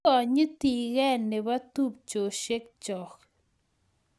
Kikonyitii Keny nebo tupcheshek choo